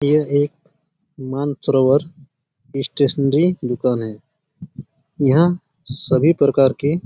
यह एक मंच रव्वर स्टेशनरी दुकान है यहाँ सभी प्रकार के--